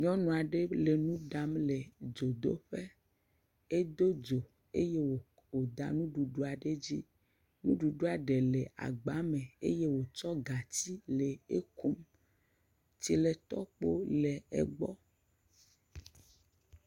Nyɔnu aɖe le nu ɖam le dzodoƒe, edo dzo eye wòda nuɖuɖua ɖe dzi, nuɖuɖua ɖe le agba me eye wòtsɔ gatsi le ekum, tsiletɔkpo le egbɔ.